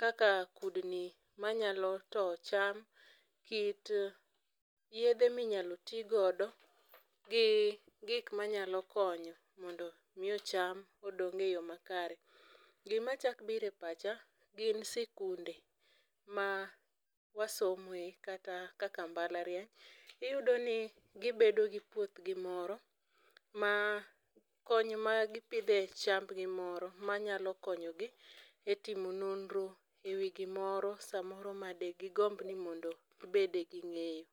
kaka kudni manyalo towo cham, kit yedhe minyalo tigodo, gi gik manyalo konyo mondo miyo cham odong e yoo makare. Gima chak biro e pacha gin sikunde ma wasomoe kata kaka mbalariany. Iyudo ni gibedo gi puothgi moro ma kony ma gipidhe chambgi moro manyalo konyogi e timo nonro e wii gimoro samoro ma de gigomb ni gibede gi ng'eyo.